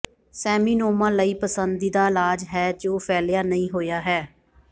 seminoma ਲਈ ਪਸੰਦੀਦਾ ਇਲਾਜ ਹੈ ਜੋ ਫੈਲਿਆ ਨਹੀਂ ਹੋਇਆ ਹੈ